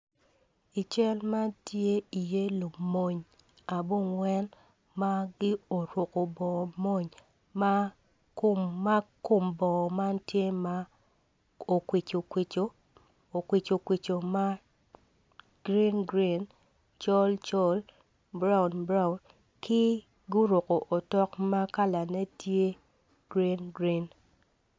I cal man ti iye lumony abungwen ma gi oruku bongo mwony ma kom bongo man tye ma okwicu okwicu ma gurin gurin col col buraun buraun ki guruku otok ma kalane tye gurin gurin